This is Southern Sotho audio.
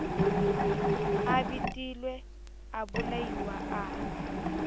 a betilwe a bolailwe a